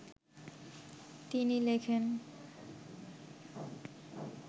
তিনি লেখেন